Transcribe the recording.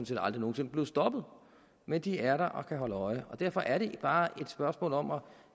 set aldrig nogen sinde blevet stoppet men de er der og kan holde øje og derfor er det bare et spørgsmål om